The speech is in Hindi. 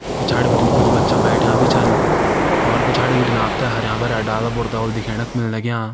पिछाड़ी बिटिन कुछ बच्चा बैठ्यां भी छन और पिछाड़ी बिटिन आप ते हरयां भरयां डाला बुरता दिखेण क मिल लग्यां।